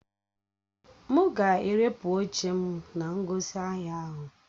M ga-erepụ oche m na ngosi ahia ahụ.